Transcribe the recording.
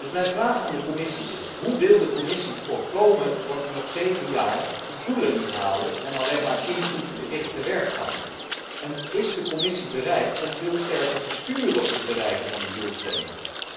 Dus mijn vraag aan de Commissie is hoe wil de Commissie voorkomen dat we nog zeven jaar de doelen niet halen en alleen maar inputgericht tewerk gaan? En is de Commissie bereid om veel sterker te sturen op het bereiken van die doelstellingen?